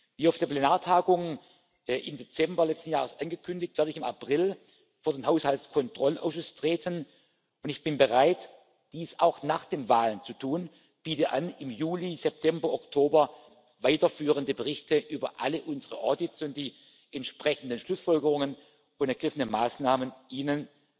Wie auf der Plenartagung im Dezember letzten Jahres angekündigt, werde ich im April vor den Haushaltskontrollausschuss treten, und ich bin bereit, dies auch nach der Wahl zu tun, und biete an, im Juli, September, Oktober weiterführende Berichte über alle unsere Audits und die entsprechenden Schlussfolgerungen und ergriffenen Maßnahmen